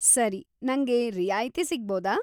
ಸರಿ, ನಂಗೆ ರಿಯಾಯಿತಿ ಸಿಗ್ಬೋದಾ?